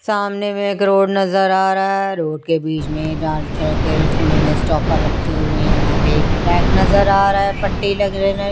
सामने में एक रोड नजर आ रहा हैं रोड के बीच में लाल कलर के इन्होने स्टोपर रखे हुई हैं यहाँ पर एक ट्रैक नजर आ रहा हैं पट्टी लागरी --